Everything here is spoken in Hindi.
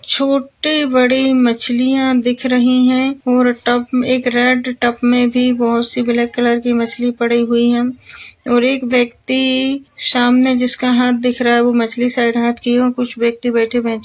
छोटे बड़े मछलिया दिख रही है और टब एक रेड टब में भी बहुत सी ब्लाक कलर की मछ्ली पड़ी हुई है और एक व्यक्ति सामने जिसका हाथ दिख रहा है वो मछ्ली साइड हात किया कुछ व्यक्ति बैठे --